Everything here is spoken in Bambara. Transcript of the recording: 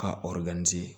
Ka